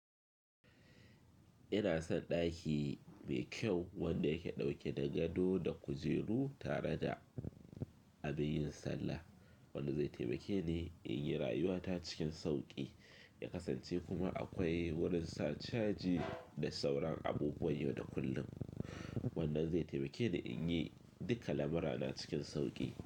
Ina son ɗaki mai kyau wanda yake ɗauke da gado da kujeru tare da abin yin sallah. Wanda zai taimake ni in yi rayuwata cikin sauƙi. Ya kasance kuma akwai wurin sacaji da sauran abubuwan yau da kullum. Wannan zai taimake ni in yi duka lamurana cikin sauƙi.